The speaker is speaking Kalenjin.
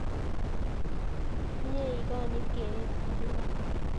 Mye ikonyit keret ap piik alak